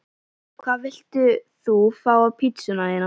Hvað vilt þú fá á pizzuna þína?